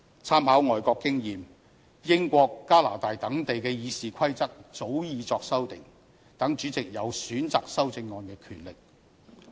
參考外國經驗，英國和加拿大等地的《議事規則》早已作出修訂，讓主席有選擇修正案的權力。